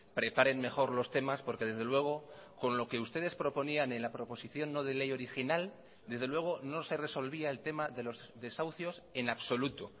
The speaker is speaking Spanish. preparen mejor los temas porque desde luego con lo que ustedes proponían en la proposición no de ley original desde luego no se resolvía el tema de los desahucios en absoluto